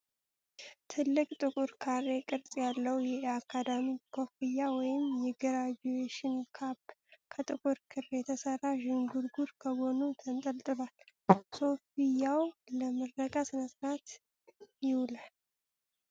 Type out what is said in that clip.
ትልቅ ጥቁር ካሬ ቅርጽ ያለው የአካዳሚክ ኮፍያ፣ ወይም የግራጁዌሽን ካፕ፣ ከጥቁር ክር የተሰራ ዥንጉርጉር ከጎኑ ተንጠልጥሏል። ኮፍያው ለምረቃ ሥነ-ሥርዓት ይውላል?